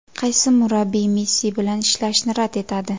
Qaysi murabbiy Messi bilan ishlashni rad etadi?